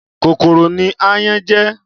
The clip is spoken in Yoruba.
Kókóró ni àyán jè